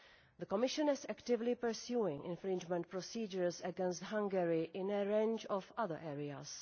The Commission is actively pursuing infringement procedures against Hungary in a range of other areas.